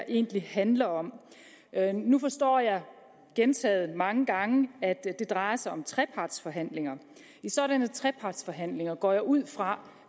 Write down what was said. egentlig handler om nu forstår jeg gentaget mange gange at det drejer sig om trepartsforhandlinger i sådanne trepartsforhandlinger går jeg ud fra